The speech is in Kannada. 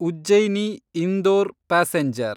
ಉಜ್ಜೈನಿ ಇಂದೋರ್ ಪ್ಯಾಸೆಂಜರ್